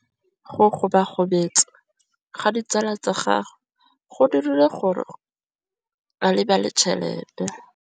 Go gobagobetsa ga ditsala tsa gagwe, gore ba tsamaye go dirile gore a lebale tšhelete.